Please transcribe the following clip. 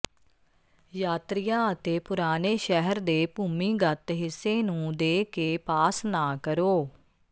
ਯਾਤਰੀਆ ਅਤੇ ਪੁਰਾਣੇ ਸ਼ਹਿਰ ਦੇ ਭੂਮੀਗਤ ਹਿੱਸੇ ਨੂੰ ਦੇ ਕੇ ਪਾਸ ਨਾ ਕਰੋ